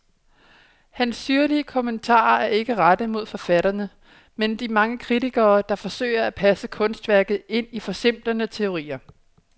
Hans syrlige kommentarer er ikke rettet mod forfatterne, men de mange kritikere, der forsøger at passe kunstværket ind i forsimplende teorier.